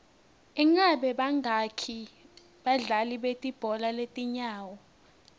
ingabe bangaki badlali belibhola letinyawo